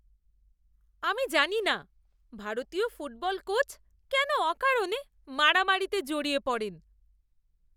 আমি জানি না ভারতীয় ফুটবল কোচ কেন অকারণে মারামারিতে জড়িয়ে পড়েন।